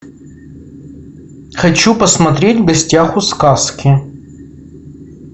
хочу посмотреть в гостях у сказки